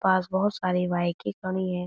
पास बहोत सारी बाइकें खड़ी हैं।